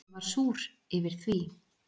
Ég var súr yfir því.